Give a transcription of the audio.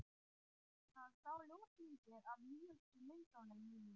Hann sá ljósmyndir af nýjustu myndunum mínum.